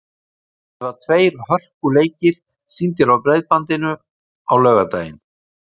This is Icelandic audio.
Það verða tveir hörkuleikir sýndir á Breiðbandinu á laugardaginn.